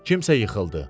Kimsə yıxıldı.